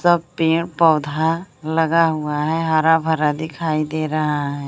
सब पेड़ पौधा लगा हुआ है हरा भरा दिखाई दे रहा है।